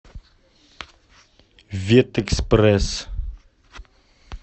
ветэкспресс